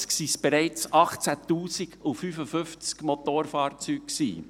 1955 waren es bereits 18 055 Motorfahrzeuge.